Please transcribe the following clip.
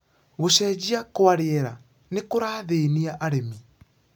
Gũcenjia kwa rĩera nĩkũrathĩnia arĩmi.